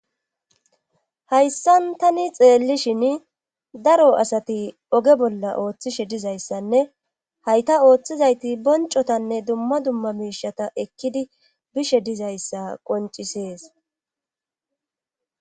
hayssan tani xeellishin daro asati oge bolla ooththishe dizayssanne hayta ooththizayti boncotanne dumma dumma miishata ekkidi bishe dizayssa qoncisees